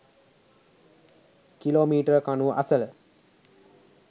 කිලෝමීටර්කණුව අසල